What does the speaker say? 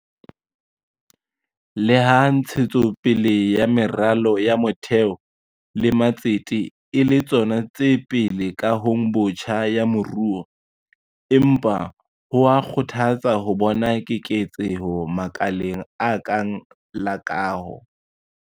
Leha ntshetso pele ya meralo ya motheo le matsete e le tsona tse pele kahong botjha ya moruo, empa ho a kgothatsa ho bona keketseho makaleng a kang la kaho.